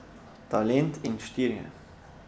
Talent in štirje.